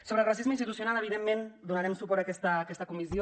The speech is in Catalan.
sobre el racisme institucional evidentment donarem suport a aquesta comissió